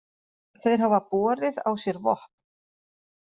Þeir hafi borið á sér vopn